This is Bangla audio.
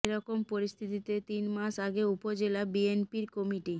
এ রকম পরিস্থিতিতে তিন মাস আগে উপজেলা বিএনপির কমিটি